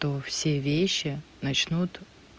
все вещи начнут